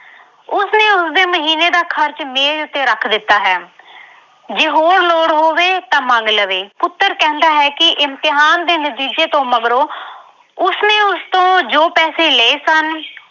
ਤੇ ਉਸਦੇ ਮਹੀਨੇ ਦਾ ਖਰਚ ਮੇਜ਼ ਉੱਤੇ ਰੱਖ ਦਿੱਤਾ ਹੈ ਜੇ ਹੋਰ ਲੋੜ ਹੋਵੇ ਤਾਂ ਮੰਗ ਲਵੇ। ਪੁੱਤਰ ਕਹਿੰਦਾ ਹੈ ਕਿ ਇਮਿਤਿਹਾਨ ਦੇ ਨਤੀਜੇ ਤੋਂ ਮਗਰੋਂ ਉਸਨੇ ਉਸਤੋਂ ਜੋ ਪੈਸੇ ਲਏ ਸਨ